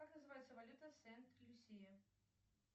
как называется валюта сент люсия